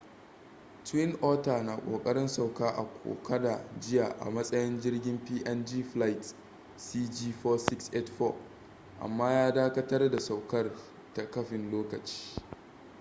twin otter na kokarin sauka a kokoda jiya a matsayin jirgin png flight cg4684 amma ya dakatar da saukar ta kafin lokaci